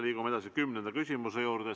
Liigume edasi kümnenda küsimuse juurde.